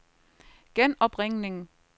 genopringning